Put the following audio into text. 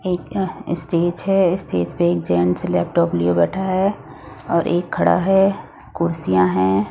एक स्टेज है स्टेज पे एक जेंट्स लैपटॉप लिए बैठा है और एक खड़ा है कुर्सियां हैं।